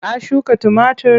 Ka shuka tumatir?